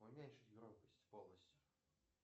уменьшить громкость полностью